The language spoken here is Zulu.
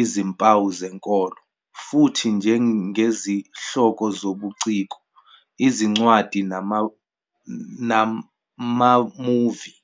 izimpawu zenkolo, futhi njengezihloko zobuciko, izincwadi namamuvi.